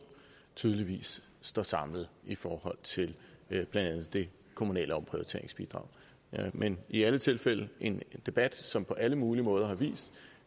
tydeligvis står samlet i forhold til blandt andet det kommunale omprioriteringsbidrag men i alle tilfælde en debat som på alle mulige måder har vist